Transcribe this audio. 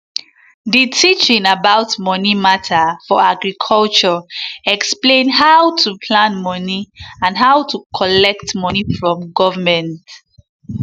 the teaching about money matter for agriculture explain how to plan money and how to collect money form government